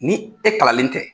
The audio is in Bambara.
Ni e kalanlen tɛ.